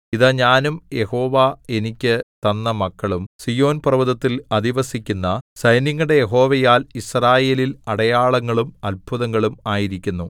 ഇതാ ഞാനും യഹോവ എനിക്ക് തന്ന മക്കളും സീയോൻ പർവ്വതത്തിൽ അധിവസിക്കുന്ന സൈന്യങ്ങളുടെ യഹോവയാൽ യിസ്രായേലിൽ അടയാളങ്ങളും അത്ഭുതങ്ങളും ആയിരിക്കുന്നു